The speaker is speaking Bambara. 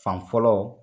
Fan fɔlɔ